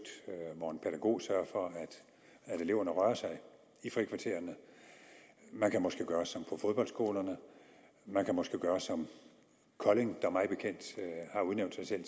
hvor en pædagog sørger for at eleverne rører sig i frikvartererne man kan måske gøre som på fodboldskolerne man kan måske gøre som kolding der mig bekendt har udnævnt sig selv